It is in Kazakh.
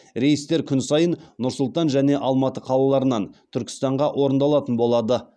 рейстер күн сайын нұр сұлтан және алматы қалаларынан түркістанға орындалатын болады